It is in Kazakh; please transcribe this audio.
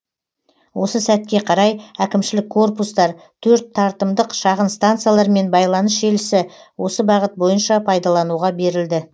осы сәтке қарай әкімшілік корпустар төрт тартымдық шағын станциялар мен байланыс желісі осы бағыт бойынша пайдалануға берілді